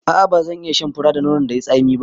A'a bazan iya shan fura da nonon da yai tsami ba